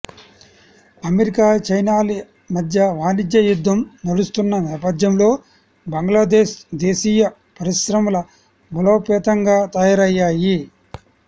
America చైనాల మధ్య వాణిజ్య యుద్ధం నడుస్తున్న నేపథ్యంలో బంగ్లాదేశ్ దేశీయ పరిశ్రమలు బలోపేతంగా తయారయ్యాయి